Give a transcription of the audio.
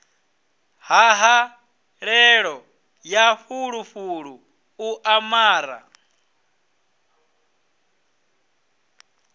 ṱhahelelo ya fulufulu u amara